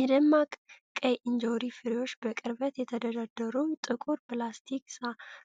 የደማቅ ቀይ እንጆሪ ፍሬዎች በቅርበት በተደረደሩ ጥቁር የፕላስቲክ